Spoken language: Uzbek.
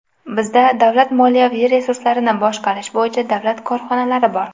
Bizda davlat moliyaviy resurslarini boshqarish bo‘yicha davlat korxonalari bor.